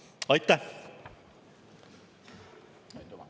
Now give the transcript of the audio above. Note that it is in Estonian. Aitäh!